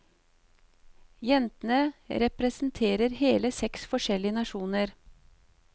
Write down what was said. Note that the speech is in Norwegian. Jentene representerer hele seks forskjellige nasjoner.